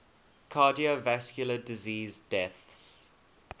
cardiovascular disease deaths